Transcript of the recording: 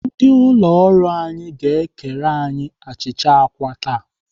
Ndị ụlọ ọrụ anyị ga-ekere anyị achịcha àkwá taa.